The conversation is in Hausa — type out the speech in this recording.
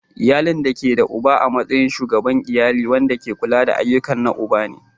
Iyali da ke da uba a matsayin Shugaban iyali wanda ke kula da ayyukan na uba ne.